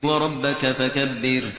وَرَبَّكَ فَكَبِّرْ